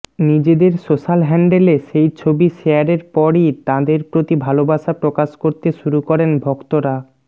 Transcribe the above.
নিজেদের সোশ্যাল হ্যান্ডেলে সেই ছবি শেয়াররে পরই তাঁদের প্রতি ভালবাসা প্রকাশ করতে শুরু করেন ভক্তরা